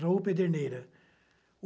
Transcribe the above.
Raul Pedreneira.